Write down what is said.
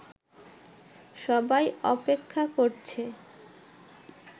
সবাই অপেক্ষা করছে